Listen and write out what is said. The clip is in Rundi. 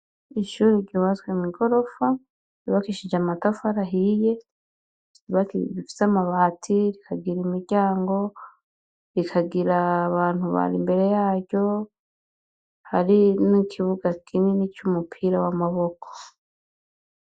Ishure ryubatswe mw'igorofa, ryubakishije amatafari ahiye, rifise amabati rikagira imiryango, rikagira abantu bari imbere yaryo, hari n'ikibuga kinini c'umupira w'amaboko.